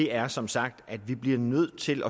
er som sagt at vi bliver nødt til